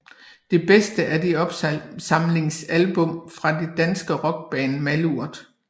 Det bedste er det opsamlingsalbum fra det danske rockband Malurt